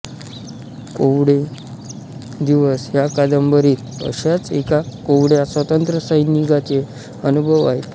कोवळे दिवस ह्या कादंबरीत अशाच एका कोवळया स्वातंत्र्यसैनिकाचे अनुभव आहेत